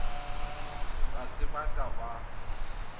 ga se ba ka ba